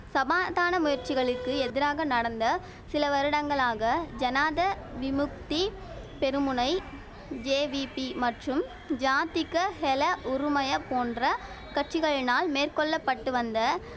சபாதான முயற்சிகளுக்கு எதிராக நடந்த சில வருடங்களாக ஜனாத விமுக்தி பெருமுனை ஜேவிபி மற்றும் ஜாதிக ஹெல உறுமய போன்ற கட்சிகளினால் மேற்கொள்ள பட்டு வந்த